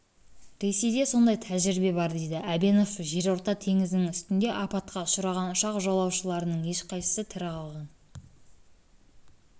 ресейде сондай тәжірибе бар дейді әбенов жерорта теңізінің үстінде апатқа ұшыраған ұшақ жолаушыларының ешқайсысы тірі қалған